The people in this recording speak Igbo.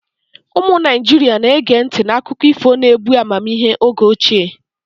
Ụmụ Naijiria na-ege ntị n'akụkọ ifo na-ebu amamihe oge ochie.